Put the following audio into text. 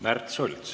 Märt Sults.